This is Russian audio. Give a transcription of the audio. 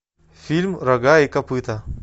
фильм рога и копыта